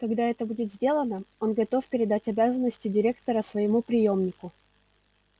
когда это будет сделано он готов передать обязанности директора своему приёмнику